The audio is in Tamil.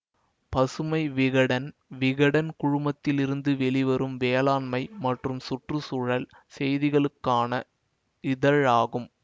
பசுமை விகடன் விகடன் குழுமத்திலிருந்து வெளிவரும் வேளாண்மை மற்றும் சுற்று சூழல் செய்திகளுக்கான இதழாகும்